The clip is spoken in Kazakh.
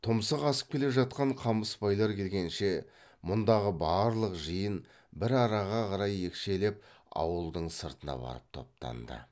тұмсық асып келе жатқан қамысбайлар келгенше мұндағы барлық жиын бір араға қарай екшелеп ауылдың сыртына барып топтанды